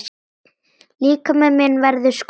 Líkami minn verður skrúfa.